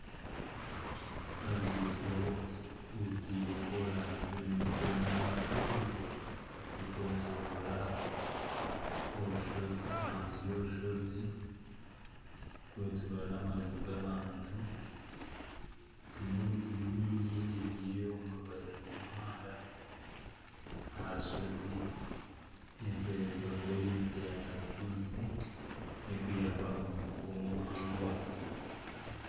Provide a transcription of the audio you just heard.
Oruguuto orutaire koraansi rurimu koona mpango rurikwetoroora ahansi y'orushozi rurikwetorora n'amaju g'abantu hariho emiti mihango ebyirwe omu rubaju rw'omuhanda aha rushozi erikureebeka kuba eri emiti ya karutuusi erikuhwera omu kukuma eby'obuhangwa